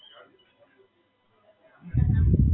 અમદાવાદ કોક વાર કામથી જઈએ ઘરવાળા જોડે તો જઈ આયા હોય.